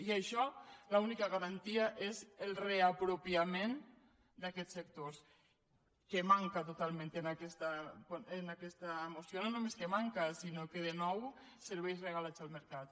i d’això l’única garantia és el reapropiament d’aquests sectors que manca totalment en aquesta moció no només que manca sinó que de nou serveis regalats al mercat